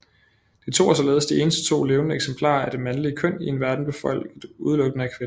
De to er således de eneste to levende eksemplarer af det mandlige køn i en verden befolket udelukkende af kvinder